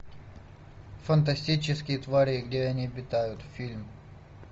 фантастические твари и где они обитают фильм